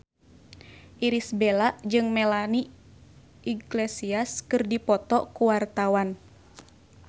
Irish Bella jeung Melanie Iglesias keur dipoto ku wartawan